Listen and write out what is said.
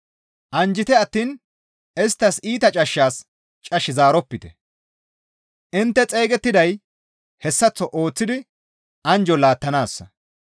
Anjjite attiin isttas iita cashshas cash zaaropite; intte xeygettiday hessaththo ooththidi anjjo laattanaassa.